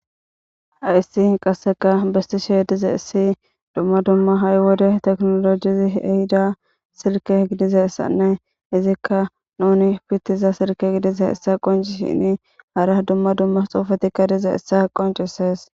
Haysi qaseka besishe dizaysi duma duma hayi wode tekinolojezi ehida silke gidizaysanne nuni pitiza silke gidizaysa qonc'sishin hara duma duma xufetika dizaysa qonc'ises.